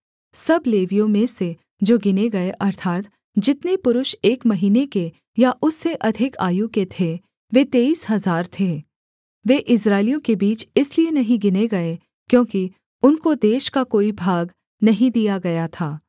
सब लेवियों में से जो गिने गये अर्थात् जितने पुरुष एक महीने के या उससे अधिक आयु के थे वे तेईस हजार थे वे इस्राएलियों के बीच इसलिए नहीं गिने गए क्योंकि उनको देश का कोई भाग नहीं दिया गया था